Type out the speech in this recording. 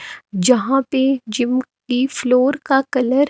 जहां पे जिम की फ्लोर का कलर --